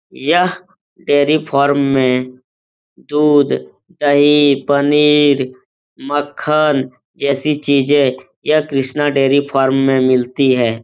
यह dairy farm में दूध दही पनीर मक्खन जैसी चीजे यह कृष्ना डेरी फार्म में मिलती है।